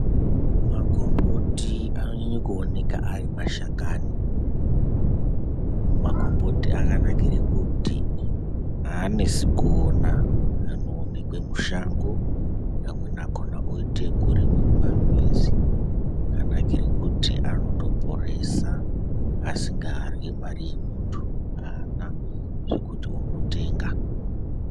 Magomboti anonyanya kuoneka ari mashakani. Magomboti akanakire kuti haanesi kuona. Anoonekwe mushango, amweni akona oite ekurimwa mumamizi. Akanakire kuti anotoporesa asingaryi mari yemuntu. Haana zvekuti unotenga.